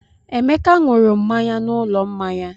Emeka ṅụrụ mmanya n'ụlọ mmanya.